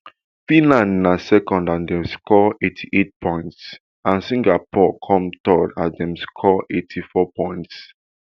finland na second as dem score eighty-eight points and singapore come third as dem score eighty-four points